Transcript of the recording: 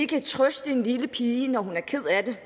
kan ikke trøste en lille pige når hun er ked af det